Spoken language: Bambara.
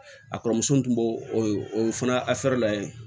A kɔrɔmusonin tun b'o o fana la yen